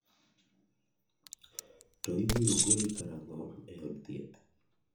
To ibiro goli karang'o e od thieth?